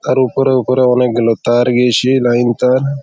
আর উপরে উপরে অনেক গুলো তার গেছে লাইন তার।